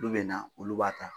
Olu be na olu b'a ta.